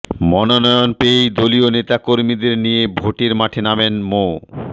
মনোনয়ন পেয়েই দলীয় নেতাকর্মীদের নিয়ে ভোটের মাঠে নামেন মো